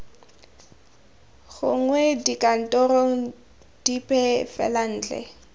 gongwe dikantorong dipe fela ntle